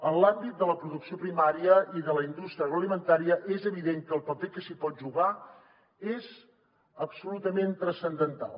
en l’àmbit de la producció primària i de la indústria agroalimentària és evident que el paper que s’hi pot jugar és absolutament transcendental